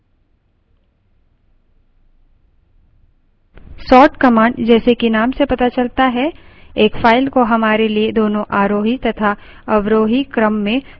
sort command जैसे कि name से पता चलता है एक फाइल को हमारे लिए दोनों आरोही तथा अवरोही क्रम में sort यानि छांटती है